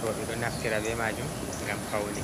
rooɓe ɗo naftira be majum ngam paune.